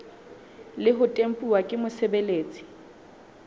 le ho tempuwa ke mosebeletsi